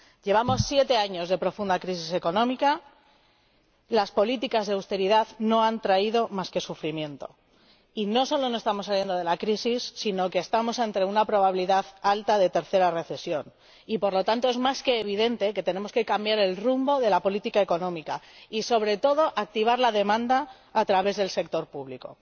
Llevamos siete años de profunda crisis económica, las políticas de austeridad no han traído más que sufrimiento, y no solamente no estamos saliendo de la crisis, sino que estamos ante una probabilidad alta de tercera recesión y, por lo tanto, es más que evidente que tenemos que cambiar el rumbo de la política económica y, sobre todo, activar la demanda a través del sector público.